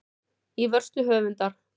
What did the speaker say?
Í vörslu höfundar.